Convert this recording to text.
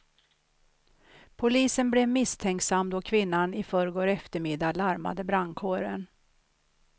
Polisen blev misstänksam då kvinnan i förrgår eftermiddag larmade brandkåren.